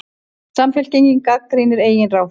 Samfylkingin gagnrýnir eigin ráðherra